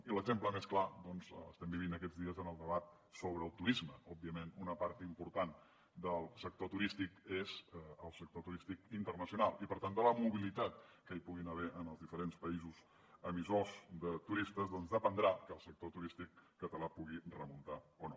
i l’exemple més clar doncs l’estem vivint aquests dies en el debat sobre el turisme òbviament una part important del sector turístic és el sector turístic internacional i per tant de la mobilitat que hi pugui haver en els diferents països emissors de turistes doncs dependrà que el sector turístic català pugui remuntar o no